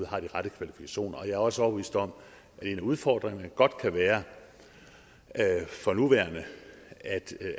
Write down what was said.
har de rette kvalifikationer jeg er også overbevist om at en af udfordringerne godt kan være for nuværende